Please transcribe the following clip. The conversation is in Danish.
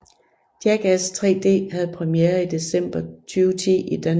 Jackass 3D havde premiere i december 2010 i Danmark